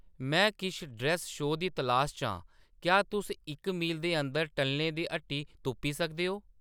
में किश dress shoe दी तलाश च आं क्या तुस इक मील दे अंदर टल्लें दी ह्‌‌टी तुप्पी सकदे ओ